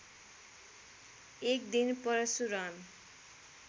एक दिन परशुराम